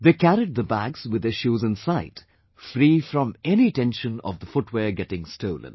They carried the bags with their shoes inside, free from any tension of the footwear getting stolen